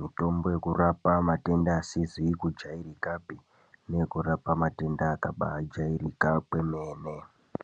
Mutombo yekurapa matenda asizi kujairikapi neyekurapa matenda akabaajairika kwemene.